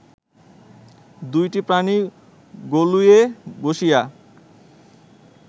দুইটি প্রাণী গলুইয়ে বসিয়া